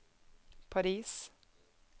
Paris